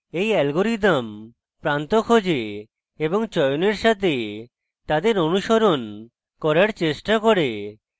এই অ্যালগরিদম প্রান্ত খোঁজে এবং চয়নের সাথে তাদের অনুসরণ করার চেষ্টা করে